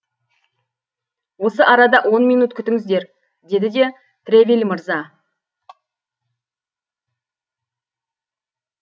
осы арада он минут күтіңіздер деді де тревиль мырза